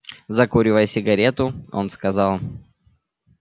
закуривая сигару он сказал